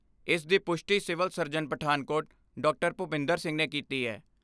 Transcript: ਇਸ ਦੀ ਪੁਸ਼ਟੀ civil surgeon Pathankot doctor Bhupinder Singh ਨੇ ਕੀਤੀ